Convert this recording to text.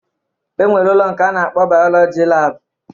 E nwere ụlọ nke a na-akpọ bayọlọji laabụ